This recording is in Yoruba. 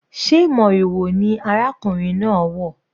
Sé moriwo ni arákùnrin náà wọ̀?